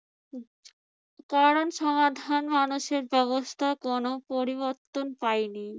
পড়ার সমাধান মানুষের ব্যবস্থা কোন পরিবর্তন পায়নি